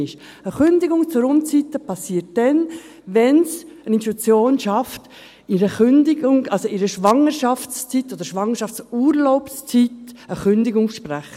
Eine Kündigung zur Unzeit geschieht dann, wenn es eine Institution schafft, in der Schwangerschaftszeit oder in der Schwangerschaftsurlaubszeit eine Kündigung auszusprechen.